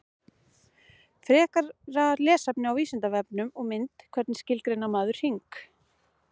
Frekara lesefni á Vísindavefnum og mynd Hvernig skilgreinir maður hring?